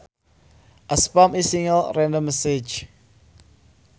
A spam is a single random message